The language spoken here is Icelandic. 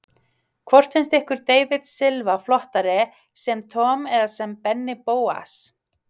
Hvort finnst ykkur David Silva flottari sem Tom eða Benni Bóas?